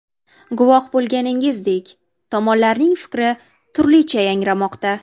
Guvoh bo‘lganingizdek, tomonlarning fikri turlicha yangramoqda.